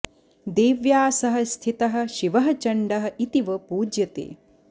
देव्या सह स्थितः शिवः चण्डः इति च पूज्यते